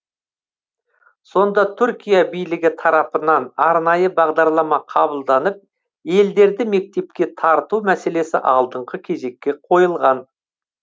сонда түркия билігі тарапынан арнайы бағдарлама қабылданып елдерді мектепке тарту мәселесі алдыңғы кезекке қойылған